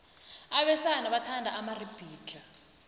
abesana bathanda amaribhidlhla